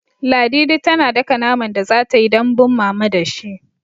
Ladidi tana daka naman da za ta yi dambun mama da shi.